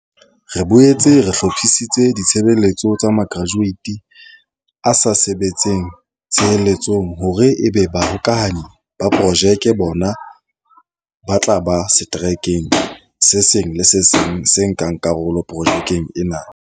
Re boetse re hlo phisitse ditshebeletso tsa makratueiti a sa sebetseng a tsheletseng hore ebe Ba -hokahanyi ba Projeke. Bona ba tla ba seterekeng se seng le se seng se nkang karolo projekeng ena.